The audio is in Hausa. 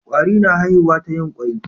Kwarare na haifiwa ta yin kwai.